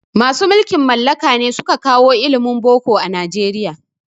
Masu mulkin mallaka ne suka kawo ilimin boko a Nijeriya